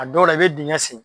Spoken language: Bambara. A dɔw la i be diŋɛ sen